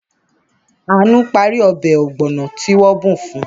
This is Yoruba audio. Àánú parí ọbẹ̀ ọ̀gbọ̀nà tí wọ́n bù fun.